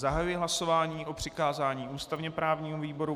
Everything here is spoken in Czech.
Zahajuji hlasování o přikázání ústavně právnímu výboru.